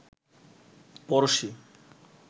পরশী